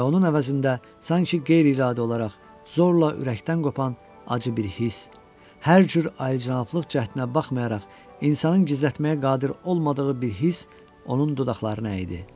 Və onun əvəzində sanki qeyri-iradi olaraq zorla ürəkdən qopan acı bir hiss, hər cür alicənablıq cəhdinə baxmayaraq, insanın gizlətməyə qadir olmadığı bir hiss onun dodaqlarına əydi.